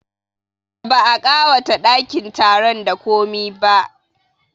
Ba a ƙawata ɗakin taron da komi ba